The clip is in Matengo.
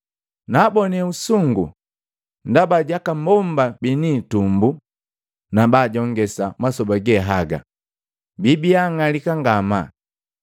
Nabone usungu ndaba jaakambomba bini itumbu na bajongesa masoba ge haga bibia ang'alika ngamaa!